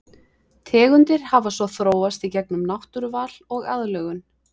Tegundir hafa svo þróast í gegnum náttúruval og aðlögun.